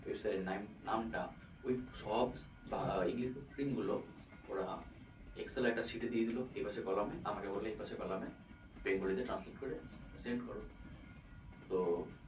website এর নাম টা ওই সব english এর string গুলো ওরা excel এর একটা sheet এ দিয়ে দিলো এবার সেই coloumn এ আমাকে বললো এপাসের coloumn এ bengali তে translate করে send করো তো,